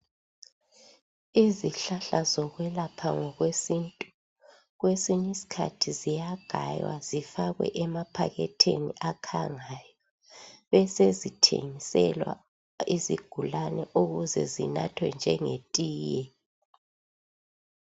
Izihlahla zokwelapha ngokwesintu kwesinye isikhathi ziyagaywa zifakwe emaphakhethini akhangayo besezithengiselwa izigulane ukuze zinathwe njengetiye.